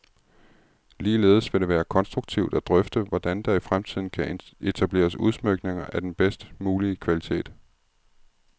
Ligeledes vil det være konstruktivt at drøfte, hvordan der i fremtiden kan etableres udsmykninger af den bedst mulige kvalitet.